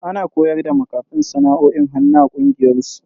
Ana koyar da makafin sana'o'in hannu a kungiyar su.